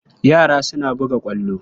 Yara suna buga ƙwallo.